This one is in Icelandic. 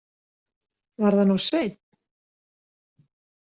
Varð hann of seinn?